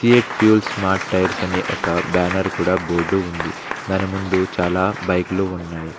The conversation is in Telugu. సీయట్ ఫ్యూల్స్ స్మార్ట్ టైర్స్ అని ఒక బ్యానర్ కూడా బోర్డు ఉంది దాని ముందు చాలా బైకులు ఉన్నాయి.